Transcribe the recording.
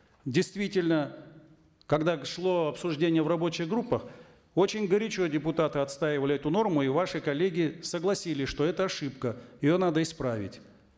действительно когда шло обсуждение в рабочих группах очень горячо депутаты отстаивали эту норму и ваши коллеги согласились что это ошибка и ее надо исправить